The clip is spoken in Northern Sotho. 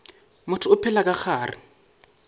motho o phela ka gare